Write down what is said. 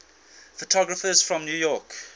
photographers from new york